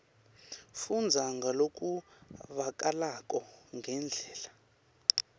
fundza ngalokuvakalako ngendlela